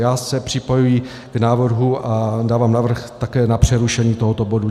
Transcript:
Já se připojuji k návrhu a dávám návrh také na přerušení tohoto bodu.